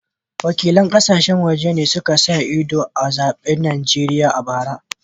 Wakilan kasashen waje ne suka sa ido a zaben Najeriya a bara